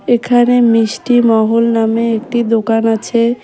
এখানে মিষ্টি মহল নামে একটি দোকান আছে।